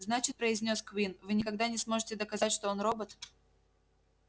значит произнёс куинн вы никогда не сможете доказать что он робот